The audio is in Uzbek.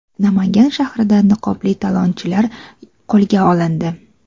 Namangan shahrida niqobli talonchilar qo‘lga olindi.